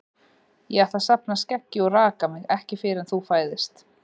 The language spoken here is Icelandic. Ég ætla að safna skeggi og raka mig ekki fyrr en þú fæðist.